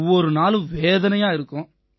ஒவ்வொரு நாளும் வேதனையா இருக்கும்